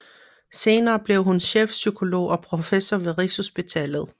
Senere blev hun chefpsykolog og professor ved Rigshospitalet